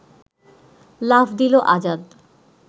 লাফ দিল আজাদ